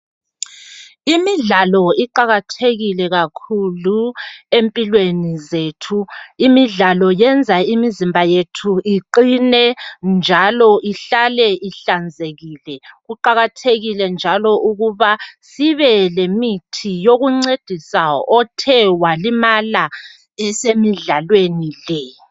Imidlalo iqakathekile kakhulu empilweni zethu. Imidlalo yenza imizimba yethu iqine njalo ihlale ihlanzekile. Kuqakathekile njalo ukuba sibe lemithi yokuncedisa othe walimala esemidlalweni le.